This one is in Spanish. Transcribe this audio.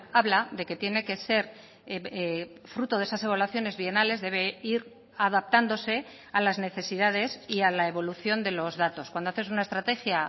habla de que tiene que ser fruto de esas evaluaciones bienales debe ir adaptándose a las necesidades y a la evolución de los datos cuando haces una estrategia